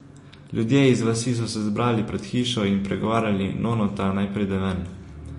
Ljudje iz vasi so se zbrali pred hišo in pregovarjali nonota, naj pride ven.